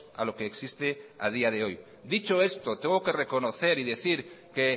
a lo que existe a día de hoy dicho esto tengo que reconocer y decir que